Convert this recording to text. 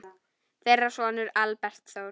Þeirra sonur er Albert Þór.